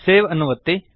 save ಅನ್ನು ಒತ್ತಿ